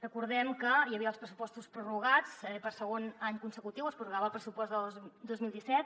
recordem que hi havia els pressupostos prorrogats eh per segon any consecutiu es prorrogava el pressupost del dos mil disset